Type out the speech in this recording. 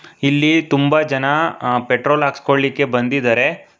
ಇಲ್ಲಿ ತುಂಬಾ ಜನ ಪೆಟ್ರೋಲ್ ಹಾಕ್ಸ್ಕೊಳ್ಳಿಕ್ಕೆ ಬಂದಿದ್ದಾರೆ.